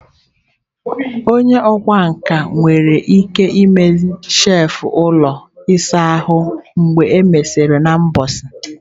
Onye ọkwá nkà nwere ike ime shelf ụlọ ịsa ahụ mgbe e mesịrị n'ụbọchị.